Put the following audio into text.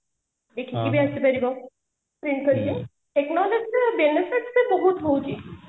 ବି ଆସି ପାରିବ technology ର benefit ତ ବହୁତ ହୋଉଛି